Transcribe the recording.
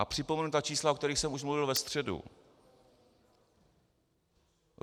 A připomenu ta čísla, o kterých jsem už mluvil ve středu.